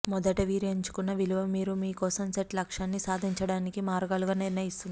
మొదటి మీరు ఎంచుకున్న విలువ మీరు మీ కోసం సెట్ లక్ష్యాన్ని సాధించడానికి మార్గాలుగా నిర్ణయిస్తుంది